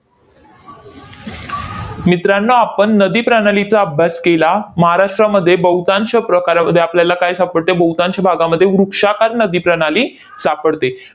मित्रांनो आपण नदीप्रणालीचा अभ्यास केला. महाराष्ट्रामध्ये बहुतांश प्रकारामध्ये आपल्याला काय सापडते? बहुतांश भागामध्ये वृक्षाकार नदीप्रणाली सापडते.